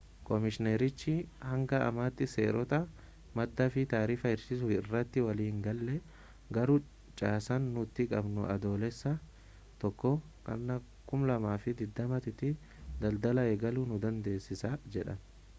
koomishiinerichi hanga ammaatti seerota maddaa fi taarifa hir'isuu irratti walii hingalle garuu caasaan nuti qabnu adoolessa 1 2020 tti daldala eegaluu nu dandeessisa jedhan